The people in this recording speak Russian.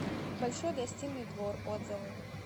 большой гостиный двор отзывы